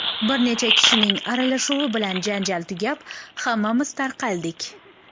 Bir necha kishining aralashuvi bilan janjal tugab, hammamiz tarqaldik.